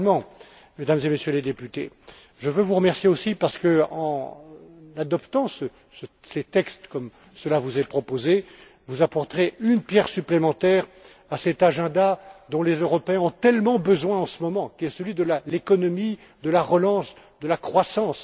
Finalement, Mesdames et Messieurs les députés, je veux vous remercier aussi parce que, en adoptant ces textes comme cela vous est proposé, vous apporterez une pierre supplémentaire à cet agenda dont les Européens ont tellement besoin en ce moment, qui est celui de l'économie de la relance et de la croissance.